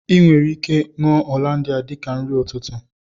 I nwere ike ṅụọ Hollandia dika nri ụtụtụ